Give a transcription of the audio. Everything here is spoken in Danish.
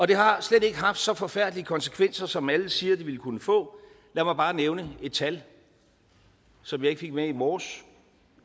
det har slet ikke haft så forfærdelige konsekvenser som alle siger det ville kunne få lad mig bare nævne et tal som jeg ikke fik med i morges